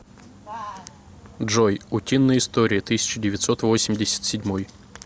джой утиные истории тысяча девятьсот восемьдесят седьмой